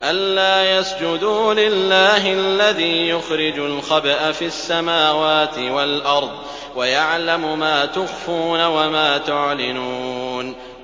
أَلَّا يَسْجُدُوا لِلَّهِ الَّذِي يُخْرِجُ الْخَبْءَ فِي السَّمَاوَاتِ وَالْأَرْضِ وَيَعْلَمُ مَا تُخْفُونَ وَمَا تُعْلِنُونَ